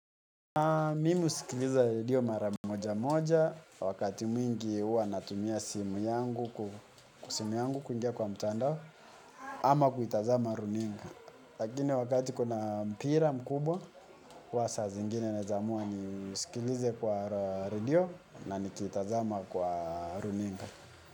Mimi husikiliza redio mara moja moja, wakati mwingi huwa natumia simu yangu kuingia kwa mtandao ama kuitazama runinga. Lakini wakati kuna mpira mkubwa, huwa saa zingine naeza amua nisikilize kwa redio na nikiitazama kwa runinga.